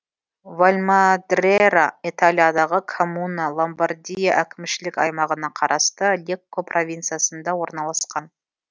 вальмадрера италиядағы коммуна ломбардия әкімшілік аймағына қарасты лекко провинциясында орналасқан